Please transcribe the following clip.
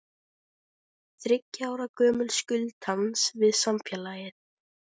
Þriggja ára gömul skuld hans við samfélagið.